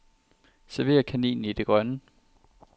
Server kaninen i det grønne.